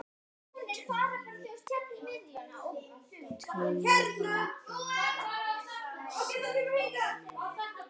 Tölvan bara segir nei.